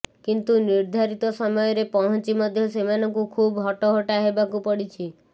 କିନ୍ତୁ ନିର୍ଦ୍ଧାରିତ ସମୟରେ ପହଞ୍ଚି ମଧ୍ୟ ସେମାନଙ୍କୁ ଖୁବ୍ ହଟହଟା ହେବାକୁ ପଡ଼ିଛି